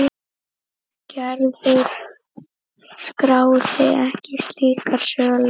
Gerður skráði ekki slíkar sölur.